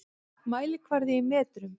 Mælikvarði í metrum.